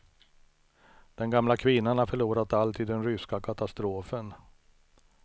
Den gamla kvinnan har förlorat allt i den ryska katastrofen.